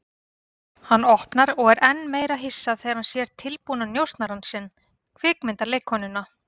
Hann opnar og er enn meira hissa þegar hann sér tilbúna njósnarann sinn, kvikmyndaleikkonuna.